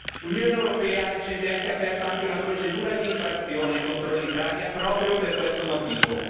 L'Unione europea ha recentemente aperto anche una procedura d'infrazione contro l'Italia proprio per questo motivo.